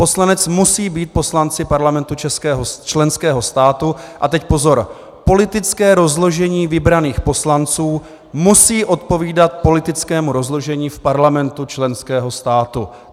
Poslanec musí být poslancem parlamentu členského státu - a teď pozor - politické rozložení vybraných poslanců musí odpovídat politickému rozložení v parlamentu členského státu.